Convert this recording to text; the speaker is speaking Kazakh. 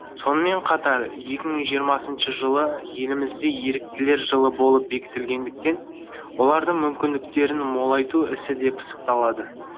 сонымен қатар екі мың жиырмасыншы жылы елімізде еріктілер жылы болып бекітілгендіктен олардың мүмкіндіктерін молайту ісі де пысықталады